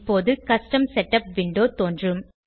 இப்போது custom setup window தோன்றும்